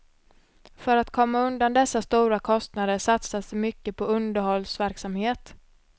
För att komma undan dessa stora kostnader satsas det mycket på underhållsverksamhet.